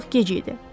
Artıq gec idi.